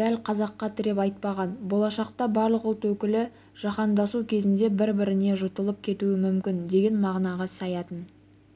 дл қазаққа тіреп айтпаған болашақта барлық ұлт өкілі жаһандасу кезінде бір-біріне жұтылып кетуі мүмкін деген мағынаға саятын